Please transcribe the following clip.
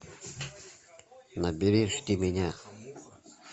набери жди меня